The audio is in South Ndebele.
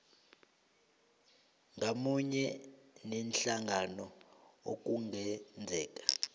ngamunye neenhlangano ekungenzeka